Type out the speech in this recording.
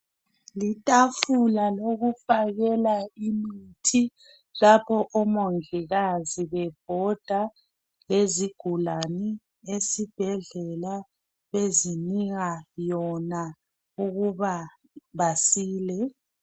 Litafula lokufakela imithi lapho omongikazi bebhoda ngezi gulani esibhedlela bezinika yona ukuba basile.